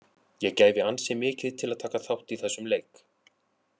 Ég gæfi ansi mikið til að taka þátt í þessum leik.